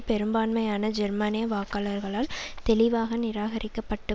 பெரும்பான்மையான ஜெர்மானிய வாக்காளர்களால் தெளிவாக நிராகரிக்கப்பட்டு